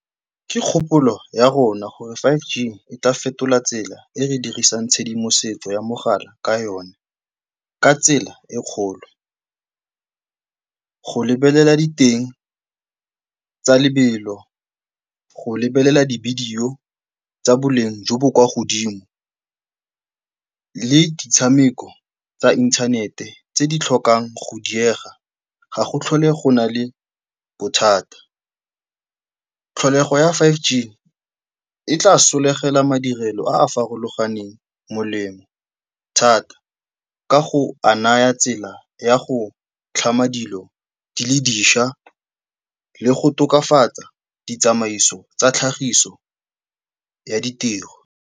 Ke kgopolo ya rona gore five G e tla fetola tsela e re dirisang tshedimosetso ya mogala ka yone ka tsela e kgolo. Go lebelela diteng tsa lebelo, go lebelela divideyo tsa boleng jo bo kwa godimo le ditshameko tsa inthanete tse di tlhokang go diega ga go tlhole go na le bothata. Tlholego ya five G e tla solegela madirelo a a farologaneng molemo thata ka go a naya tsela ya go tlhama dilo di le dišwa le go tokafatsa ditsamaiso tsa tlhagiso ya ditiro.